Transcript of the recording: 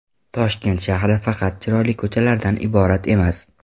Toshkent shahri faqat chiroyli ko‘chalardan iborat emas.